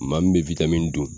Maa min be dun